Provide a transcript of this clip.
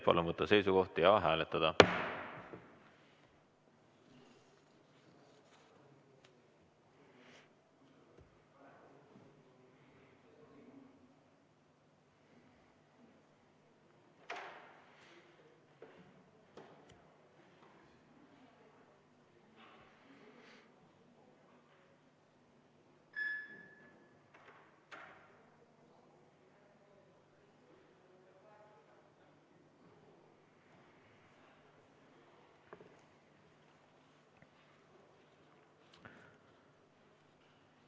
Palun võtta seisukoht ja hääletada!